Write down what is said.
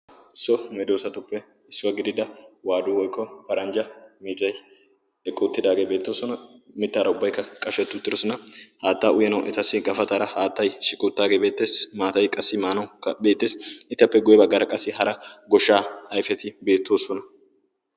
so meedoosatuppe issuwaa gidiida waadu woikko paranjja miitai eqqoottidaageebeettoosona mittaara ubbaikka qashettu tirosona haattaa uyanau etassi gafataara haattai shiqoottaageebeetteessi maatayi qassi maanau beettees etappe goye baggaara qassi hara goshshaa aifeti beettoosona